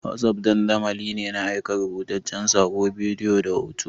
Wossof dandamali ne na aika rubutaccen saƙo, bidiyo da hoto.